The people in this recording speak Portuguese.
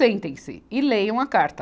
Sentem-se e leiam a carta.